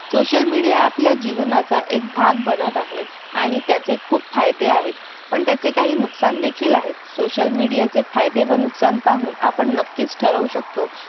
social media आपल्या जीवनाचा भाग बनत आहे आणि त्याचे खूप फायदे आहेत पण त्याचे काही नुकसान देखील आहेत social media चे फायदे व नुकसान पाहून नक्कीच ठरवू शकतो